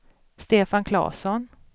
Stefan Klasson